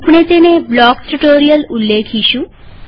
આપણે તેને blocks tutorial ઉલ્લેખીશું